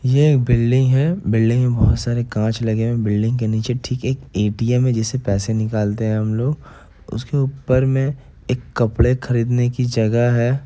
ये एक बिल्डिंग है बिल्डिंग में बहोत सारे कांच लगे हुए हैं| बिल्डिंग के निचे ठीक एक ए_टी_एम है जिससे पैसे निकालते हैं हम लोग| उसके ऊपर में एक कपड़े खरीदने की जगह है।